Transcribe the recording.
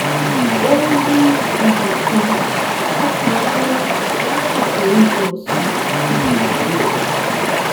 ó rí ibì kan tó pa rọ́rọ́ lásìkò oúnjẹ ọ̀sán láti kàwé rẹ̀